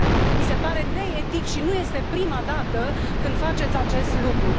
Mi se pare neetic și nu este prima dată când faceți acest lucru.